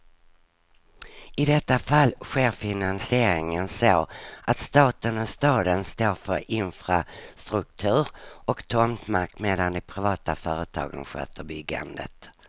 I detta fall sker finansieringen så att staten och staden står för infrastruktur och tomtmark, medan de privata företagen sköter byggandet.